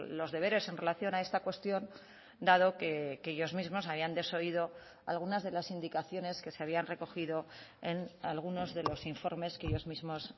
los deberes en relación a esta cuestión dado que ellos mismos habían desoído algunas de las indicaciones que se habían recogido en algunos de los informes que ellos mismos